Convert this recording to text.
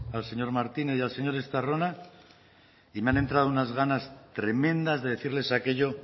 al señor martínez y al señor estarrona y me han entrado unas ganas tremendas de decirles aquello